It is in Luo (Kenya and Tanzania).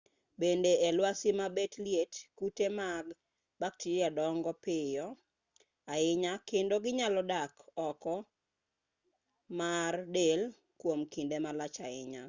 bende e lwasi ma bet liet kute mag bakteria dongo piyo ahinya kendo ginyalo dak oko mar del kwom kinde malach ahinya